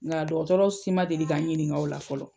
Ŋa dɔgɔtɔrɔ si ma deli ka n ɲiniŋa o la fɔlɔ.